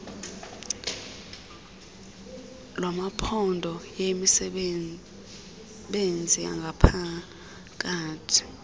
lwamaphondo yeyemisebenzi yangaphakathi